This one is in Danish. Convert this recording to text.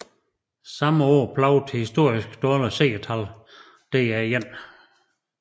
Samme år plagede historisk dårlige seertal DR1